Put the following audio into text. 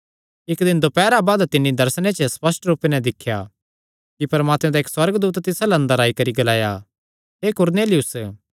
इक्क दिन दोपैरा बाद तिन्नी दर्शन च स्पष्ट रूपे नैं दिख्या कि परमात्मे दा इक्क सुअर्गदूत तिस अल्ल अंदर आई करी ग्लाया हे कुरनेलियुस